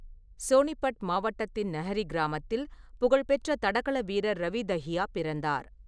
சோனிபட் மாவட்டத்தின் நஹ்ரி கிராமத்தில் புகழ்பெற்ற தடகள வீரர் ரவி தஹியா பிறந்தார்.